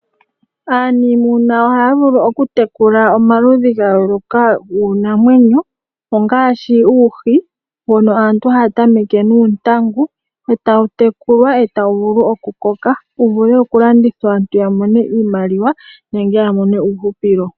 Aanimuna ohaya vulu okutekula omaludhi ga yooloka guunamwenyo ngaashi uuhi mbono aantu haya tameke nuuntangu e tawu tekulwa tawu vulu okukoka wu vule okulandithwa aantu ya mone iimaliwa nenge ya mone uuhupilo.